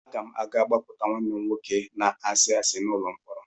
Aga m aga gbapụta nwanne m nwoke na-asị asị n'ụlọ mkpọrọ.